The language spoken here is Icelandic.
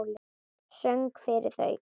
Söng fyrir þau.